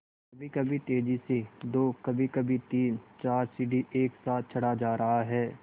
कभीकभी तेज़ी से दो कभीकभी तीनचार सीढ़ी एक साथ चढ़ा जा रहा है